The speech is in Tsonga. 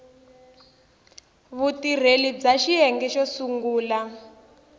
vutirheli bya xiyenge xo sungula